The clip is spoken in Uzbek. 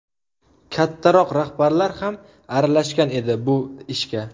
Kattaroq rahbarlar ham aralashgan edi bu ishga.